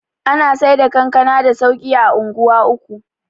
ana Saida kankana da sauki a unguwa uku